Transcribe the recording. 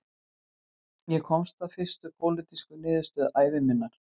Ég komst að fyrstu pólitísku niðurstöðu ævi minnar